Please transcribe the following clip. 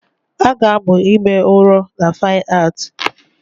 A ga-amụ ime ụrọ na Fine Art